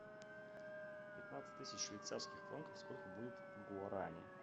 пятнадцать тысяч швейцарских франков сколько будет в гуарани